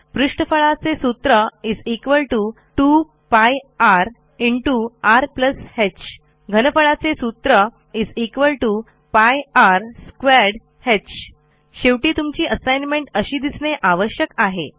पृष्ठफळाचे सूत्र 2 π rर ह घनपळाचे सूत्र π r2h शेवटी तुमची असाईनमेंट अशी दिसणे आवश्यक आहे